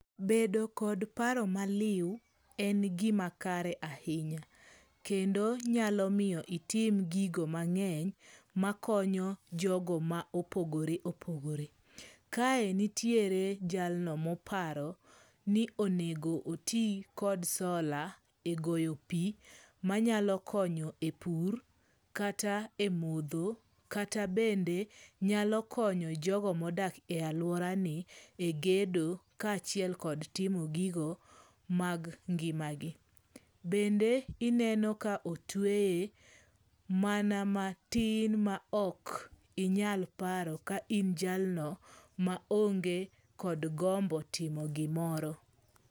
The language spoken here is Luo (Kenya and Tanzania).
Bedo kod paro maliew en gima kare ahinya. Kendo nyalo miyo itim gigo mang'eny makonyo jogo ma opogore opogore. Kae nitiere jalno moparo ni onego oti kod sola e goyo pi manyalo konyo e pur kata e mudho kata bende nyalo konyo jogo mo dak e aluara ni e gedo ka achiel kod timo gigo mag ngima gi. Bende ineno ka otweye mana matin ma ok inyal paro ka in jalno ma onge kod gombo timo gimoro.